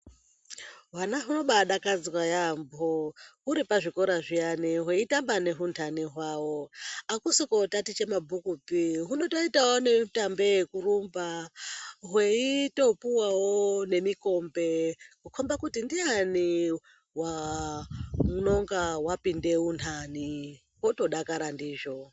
Hwana hunobadakadzwa yambo huri pazvikora zvawo hweitamba nehundani hwawo akusi kotatiche mabhukupi hunotoitawo nekurumba hweitopuwawo nemikombe kukomba kuti ndiyani unenge wapinda undani otodakara ndizvo.